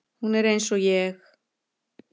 Hún er eins og ég.